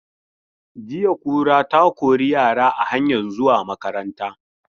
Jiya kura ta kori yara a hanyan zuwa makaranta.